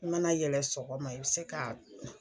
I mana yɛlɛ sɔgɔma i be se ka.